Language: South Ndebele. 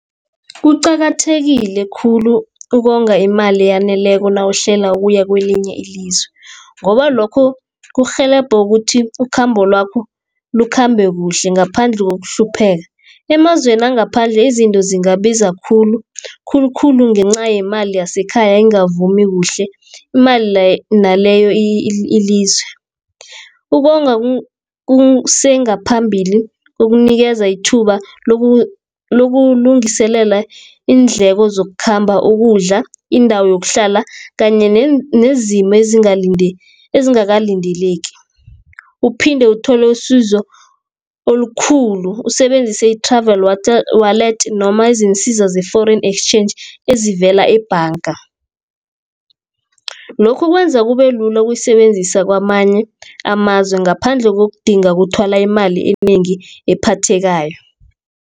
Kuqakathekile khulu ukonga imali eyaneleko nawuhlela ukuya kelinye ilizwe, ngoba lokho kurhelebha ukuthi ikhambo lakho likhambe kuhle ngaphandle kokuhlupheka. Emazweni wangaphandle izinto zingabasiza khulu, khulukhulu ngenca yemali yasekhaya engavumi kuhle emayelana naleyo ilizwe. Ukonga kusengaphambili ukunikeza ithuba lokulungiselela iindleko zokukhamba, ukudla, indawo yokuhlala, kanye nezimo ezingakalindeleki uphinde uthole isizo olukhulu. Usebenzise i-Travel Wallet, noma izinsiza ze-Foreign Exchange ezivela ebhanga. Lokhu kwenza kube lula ukuyisebenzisa kamanye amazwe, ngaphandle kokudinga ukuthwala imali enengi ephathekayo.